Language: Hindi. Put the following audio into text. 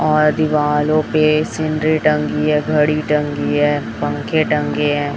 और दिवालों पे सीनरी टंगी है घड़ी टंगी है पंखे टंगे है।